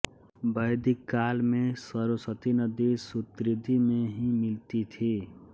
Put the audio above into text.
वैदिक काल में सरस्वती नदी शुतुद्रि में ही मिलती थी